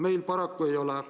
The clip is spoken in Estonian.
Meil paraku mitte.